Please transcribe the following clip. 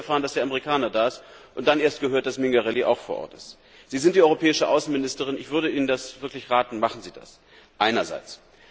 Ich habe zuerst erfahren, dass der Amerikaner da ist, und dann erst gehört, dass Mingarelli auch vor Ort ist. Sie sind die europäische Außenministerin, ich würde Ihnen wirklich raten, machen Sie das einerseits.